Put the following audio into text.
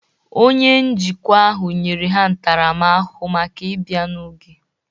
Onye njikwa ahụ nyere ha ntaramahụhụ maka ịbịa n'oge